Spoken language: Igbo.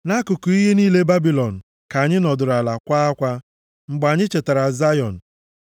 Nʼakụkụ iyi niile Babilọn ka anyị nọdụrụ ala kwaa akwa mgbe anyị chetara Zayọn.